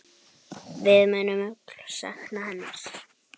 Við munum öll sakna hennar.